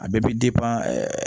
A bɛɛ bɛ